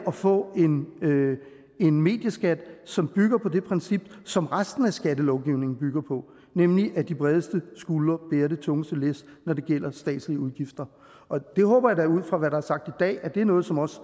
få en medieskat som bygger på det princip som resten af skattelovgivningen bygger på nemlig at de bredeste skuldre bærer det tungeste læs når det gælder statslige udgifter det håber jeg da ud fra hvad der er sagt i dag er noget som også